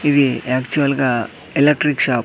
ఇది యాక్చువల్గా electric shop .